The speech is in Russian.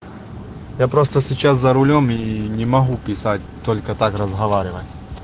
я просто сейчас за рулём и не могу писать только так разговаривать